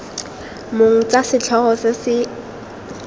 mong tsa setlhogo se se